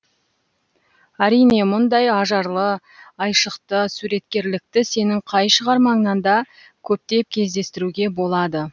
әрине мұндай ажарлы айшықты суреткерлікті сенің қай шығармаңнан да көптеп кездестіруге болады